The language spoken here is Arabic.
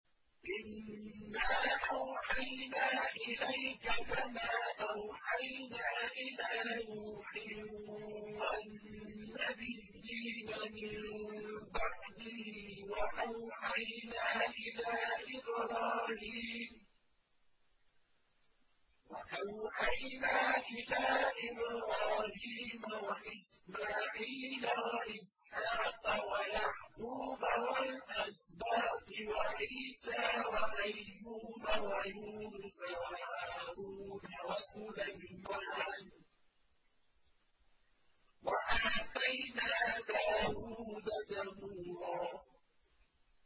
۞ إِنَّا أَوْحَيْنَا إِلَيْكَ كَمَا أَوْحَيْنَا إِلَىٰ نُوحٍ وَالنَّبِيِّينَ مِن بَعْدِهِ ۚ وَأَوْحَيْنَا إِلَىٰ إِبْرَاهِيمَ وَإِسْمَاعِيلَ وَإِسْحَاقَ وَيَعْقُوبَ وَالْأَسْبَاطِ وَعِيسَىٰ وَأَيُّوبَ وَيُونُسَ وَهَارُونَ وَسُلَيْمَانَ ۚ وَآتَيْنَا دَاوُودَ زَبُورًا